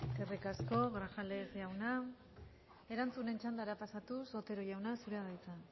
eskerrik asko grajales jauna erantzunen txandara pasatuz otero jauna zurea da hitza